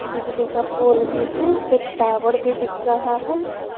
बिजली का पोल भी है एक टावर भी दिख रहा है।